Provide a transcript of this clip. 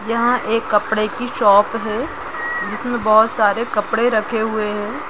यहाँ एक कपड़े की शॉप है जिसमे बहुत सारे कपड़े रखे हुए है।